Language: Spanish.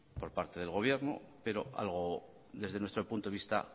por parte del gobierno pero algo desde nuestro punto de vista